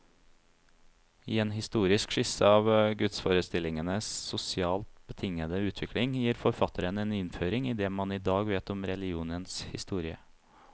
I en religionshistorisk skisse av gudsforestillingenes sosialt betingede utvikling, gir forfatteren en innføring i det man i dag vet om religionens historie.